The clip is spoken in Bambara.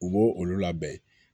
U b'o olu labɛn